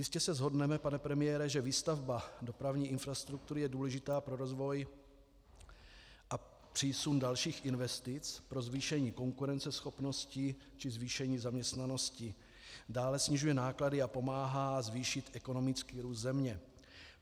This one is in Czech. Jistě se shodneme, pane premiére, že výstavba dopravní infrastruktury je důležitá pro rozvoj a přísun dalších investic, pro zvýšení konkurenceschopnosti či zvýšení zaměstnanosti, dále snižuje náklady a pomáhá zvýšit ekonomický růst země.